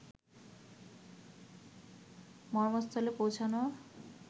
মর্মস্থলে পৌঁছানো